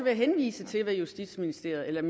jeg henvise til hvad justitsministeren